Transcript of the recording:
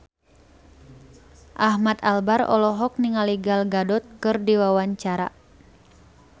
Ahmad Albar olohok ningali Gal Gadot keur diwawancara